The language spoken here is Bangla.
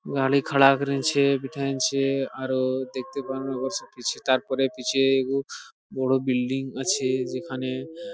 গাড়ি খাড়া আরো দেখতে পারেন তারপরে পিছনে বড়ো বিল্ডিং আছে যেখানে ।